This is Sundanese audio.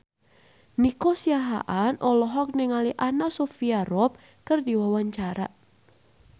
Nico Siahaan olohok ningali Anna Sophia Robb keur diwawancara